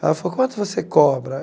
Ela falou, quanto você cobra?